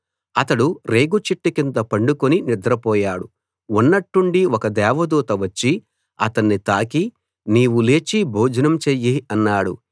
అతడు రేగు చెట్టు కింద పడుకుని నిద్రపోయాడు ఉన్నట్టుండి ఒక దేవదూత వచ్చి అతన్ని తాకి నీవు లేచి భోజనం చెయ్యి అన్నాడు